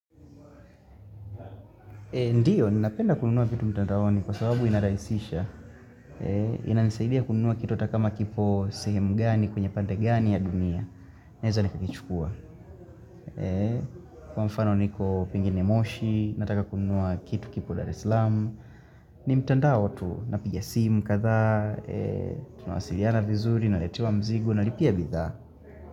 Ndiyo, ninapenda kununua vitu mtandaoni kwa sababu inaraisisha. Inanisaidia kununua kitu ata kama kipo sehemu gani kwenye pande gani ya dunia. Naeza nikakichukua. Kwa mfano niko pengine moshi, nataka kununua kitu kipo dar es lamu. Ni mtandao tu napiga simu kadhaa, tunawasiliana vizuri, naletewa mzigo, nalipia bidhaa.